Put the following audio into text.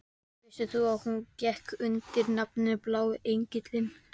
Vissir þú að hún gekk undir nafninu Blái engillinn?